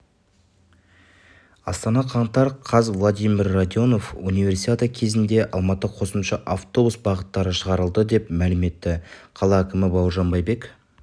астана қаңтар қаз владимир радионов универсиада кезінде алматыда қосымша автобус бағыттары шығарылады деп мәлім етті қала әкімі бауыржан байбек